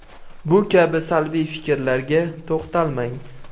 Bu kabi salbiy fikrlarga to‘xtalmang.